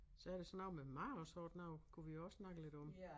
Så er der sådan noget med mad og sådan noget kunne vi jo også snakke lidt om